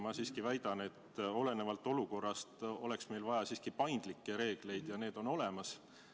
Ma siiski väidan, et olenevalt olukorrast oleks meil vaja paindlikke reegleid, ja need on olemas.